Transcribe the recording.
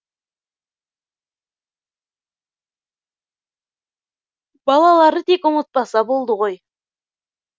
балалары тек ұмытпаса болды ғой